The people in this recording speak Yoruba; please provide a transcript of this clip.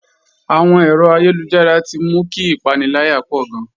Àwọn ẹ̀rọ ayélujára ti mú kí ìpaniláyà pọ̀ gan